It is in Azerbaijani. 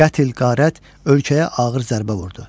Qətl, qarət ölkəyə ağır zərbə vurdu.